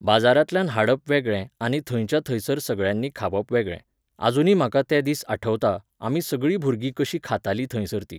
बाजारांतल्यान हाडप वेगळें आनी थंयच्या थंयसर सगळ्यांनी खावप वेगळें. आजुनी म्हाका ते दीस आठवता, आमी सगळीं भुरगीं कशीं खातालीं थंयसर तीं.